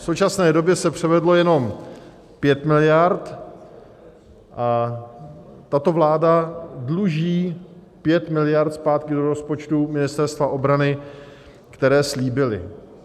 V současné době se převedlo jenom 5 miliard a tato vláda dluží 5 miliard zpátky do rozpočtu Ministerstva obrany, které slíbila.